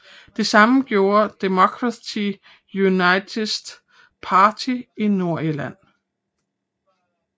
Det samme gjorde Democratic Unionist Party i Nordirland